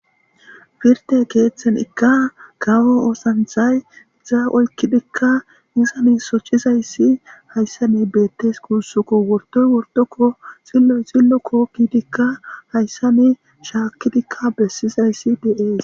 firte keeththen ikka kawo oosanthay za olkidikka izane sochizayssi hayssa ne beettes kuussuko wortoy wortokko xilloy xillo kookkidikka hayssa ne shaakkidikka bessizayssi deees